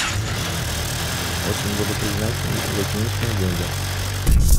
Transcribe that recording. очень буду признателен если закинешь мне деньги